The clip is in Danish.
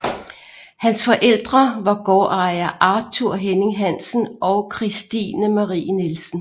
Hans forældre var gårdejer Arthur Henning Hansen og Kristine Marie Nielsen